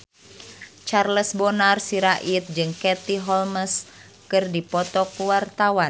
Charles Bonar Sirait jeung Katie Holmes keur dipoto ku wartawan